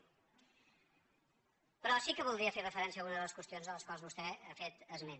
però sí que voldria fer referència a alguna de les qüestions a les quals vostè ha fet esment